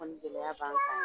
gɛlɛya b'an kan